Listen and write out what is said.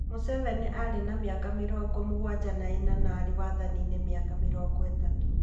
Museveni arĩ na mĩaka mĩrongo mũgwanja na ĩna na arĩ wathaniinĩ mĩaka mĩrongo ĩtatũ.